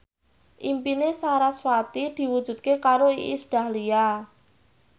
impine sarasvati diwujudke karo Iis Dahlia